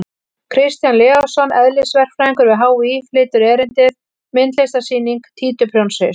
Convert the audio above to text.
Kristján Leósson, eðlisverkfræðingur við HÍ, flytur erindið: Myndlistarsýning á títuprjónshaus!